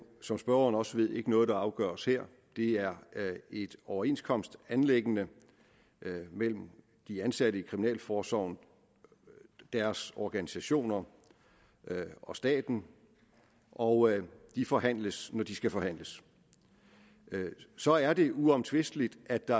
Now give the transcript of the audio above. som spørgeren også ved ikke er noget der afgøres her det er et overenskomstanliggende mellem de ansatte i kriminalforsorgen deres organisationer og staten og de forhandles når de skal forhandles så er det uomtvisteligt at der